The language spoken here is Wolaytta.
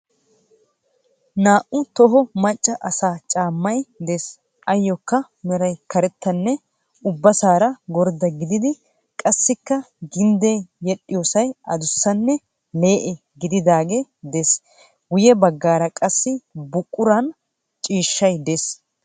Naa"u toho macca asaa caammay de'ees. Ayyookka meray karettanne ubbasaara gordda gidida qassikka gindde yedhdhiyoosay adussanne lee"e gididaagee de'ees. Guyye baggaara qassi buquraan ciishshay de'ees.